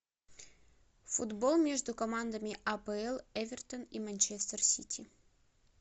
футбол между командами апл эвертон и манчестер сити